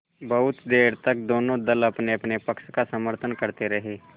बहुत देर तक दोनों दल अपनेअपने पक्ष का समर्थन करते रहे